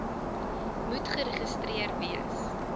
moet geregistreer wees